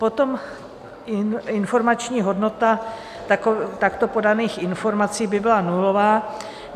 Potom informační hodnota takto podaných informací by byla nulová.